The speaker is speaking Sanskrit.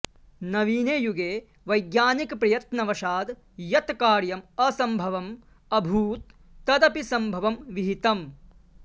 नवीने युगे वैज्ञानिकप्रयत्नवशाद् यत् कार्यम् असम्भवम् अभूत् तदपि सम्भवं विहितम्